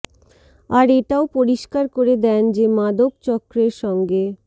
আর এটাও পরিষ্কার করে দেন যে মাদক চক্রের সঙ্গে